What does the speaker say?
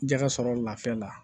Jɛgɛ sɔrɔ lafiya la